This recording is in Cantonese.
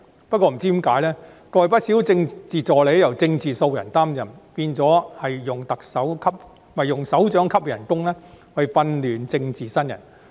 不過，不知何故，過去不少政治助理由"政治素人"擔任，變成用首長級的工資訓練政治新人。